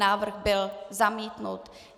Návrh byl zamítnut.